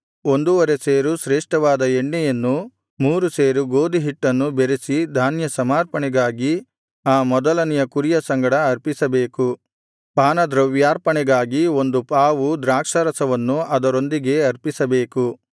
ಒಂದೂವರೆ ಸೇರು ಶ್ರೇಷ್ಠವಾದ ಎಣ್ಣೆಯನ್ನೂ ಮೂರು ಸೇರು ಗೋದಿಹಿಟ್ಟನ್ನೂ ಬೆರಸಿ ಧಾನ್ಯಸಮರ್ಪಣೆಗಾಗಿ ಆ ಮೊದಲನೆಯ ಕುರಿಯ ಸಂಗಡ ಅರ್ಪಿಸಬೇಕು ಪಾನದ್ರವ್ಯಾರ್ಪಣೆಗಾಗಿ ಒಂದು ಪಾವು ದ್ರಾಕ್ಷಾರಸವನ್ನು ಅದರೊಂದಿಗೆ ಅರ್ಪಿಸಬೇಕು